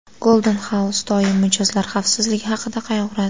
Golden House doim mijozlar xavfsizligi haqida qayg‘uradi.